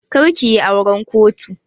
Kar kiyi auran kotu!